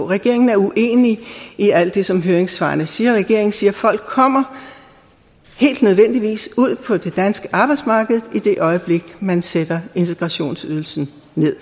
regeringen er uenig i alt det som høringssvarene siger regeringen siger at folk kommer nødvendigvis ud på det danske arbejdsmarked i det øjeblik man sætter integrationsydelsen